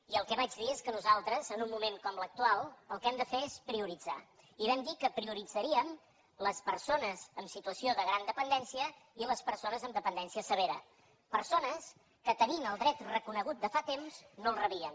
i el que vaig dir és que nosaltres en un moment com l’actual el que hem de fer és prioritzar i vam dir que prioritzaríem les persones en situació de gran dependència i les persones en dependència severa persones que tenint el dret reconegut de fa temps no el rebien